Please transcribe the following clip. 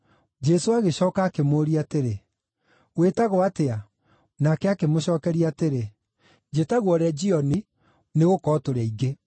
Jesũ agĩcooka akĩmũũria atĩrĩ, “Wĩtagwo atĩa?” Nake akĩmũcookeria atĩrĩ, “Njĩtagwo Legioni, nĩgũkorwo tũrĩ aingĩ.”